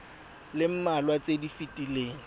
le mmalwa tse di fetileng